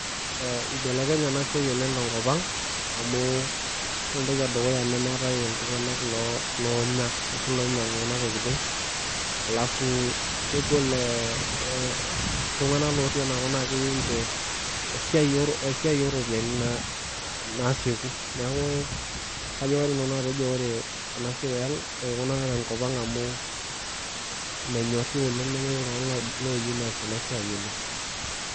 Ee ibelekenye ena siai oleng' tenkop amu ore entoki edukuya nemeetai iltung'anak loonya ashu iloinyiang'u kuna tokitin alafu kegol ee iltung'anak lootii enakop keyieu ninche esiai ooropiyiani naasieku neeku kaidim nanu atejo ekuna tenkop ang' menyorri oleng' nemetii iltung'anak oos ena siai oleng'.